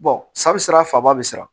sa be sira faaba bi sira